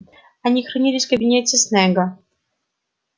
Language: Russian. они хранились в кабинете снегга